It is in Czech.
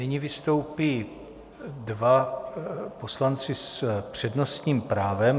Nyní vystoupí dva poslanci s přednostním právem.